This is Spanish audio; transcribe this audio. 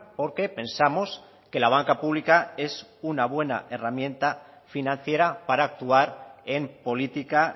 porque pensamos que la banca pública es una buena herramienta financiera para actuar en política